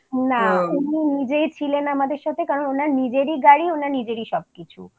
না উনি নিজেই ছিলেন আমাদের সাথে কারণ ওনার নিজেরই গাড়ি ওনার নিজেরই সবকিছু